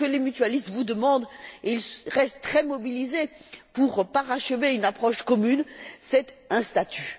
Ce que les mutualistes vous demandent et ils restent très mobilisés pour parachever une approche commune c'est un statut.